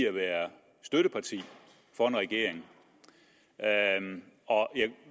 at være støtteparti for en regering og